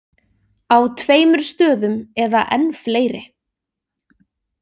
Á tveimur stöðum eða enn fleiri.